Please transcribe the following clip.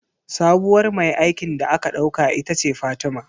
Sabuwar mai aikin da aka ɗauka ita ce Fatima